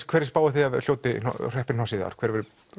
hverju spáið þið að hreppi hnossið í ár hver